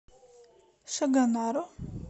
шагонару